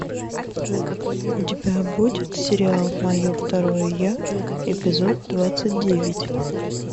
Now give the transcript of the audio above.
у тебя будет сериал мое второе я эпизод двадцать девять